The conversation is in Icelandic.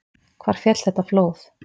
Hvar féll þetta flóð?